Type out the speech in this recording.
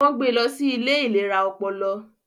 Wọ́n gbé lọ sí ilé ìlera ọpọlọ